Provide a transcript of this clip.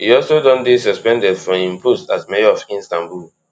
e also don dey suspended from im post as mayor of istanbul